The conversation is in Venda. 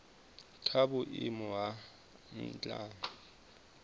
kwa vhuimo ha nha he